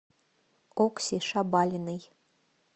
окси шабалиной